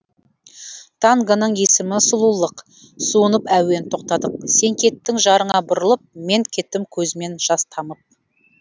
тангоның есімі сұлулық суынып әуен тоқтадық сен кеттің жарыңа бұрылып мен кеттім көзімнен жас тамып